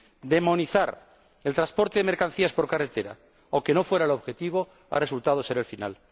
Demonizar el transporte de mercancías por carretera, aunque no fuera el objetivo, ha resultado ser el final.